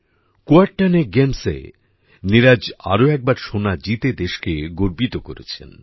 কূয়োরটানে গেমসএ নীরজ আরও একবার সোনা জিতে দেশকে গর্বিত করেছেন